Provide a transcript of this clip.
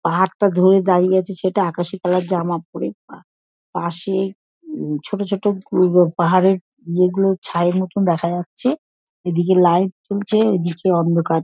পাহাড়টা ধরে দাড়িয়ে আছে ছেলেটা আকাশি কালার -এর জামা পরে পা পাশে-এ উম ছোট ছোট গোলগোল পাহাড়ের য়ে গুলো ছায়ের মতন দেখা যাচ্ছে এদিকে লাইট জ্বলছে ওদিকে অন্ধকার।